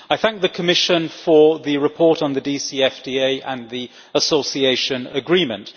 I thank the Commission for the report on the DCFTA and the Association Agreement.